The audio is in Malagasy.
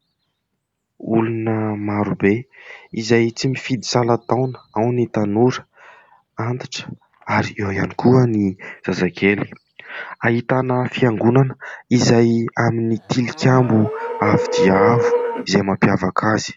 Olona maro be izay tsy mifidy salan-taona, ao ny tanora, antitra ary eo ihany koa ny zazakely. Ahitana fiangonana izay amin'ny tilikambo avo dia avo izay mampiavaka azy.